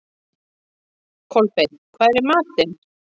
Kolbeinn, hvað er í matinn?